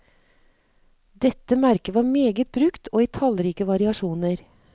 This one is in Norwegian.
Dette merket var meget brukt og i tallrike variasjoner.